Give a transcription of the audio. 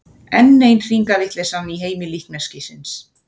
Enn ein hringavitleysan í heimi líkneskisins.